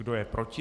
Kdo je proti?